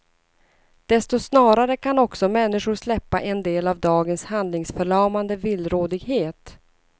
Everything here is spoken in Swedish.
Desto snarare kan också människor släppa en del av dagens handlingsförlamande villrådighet.